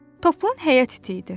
Toplan həyat it idi.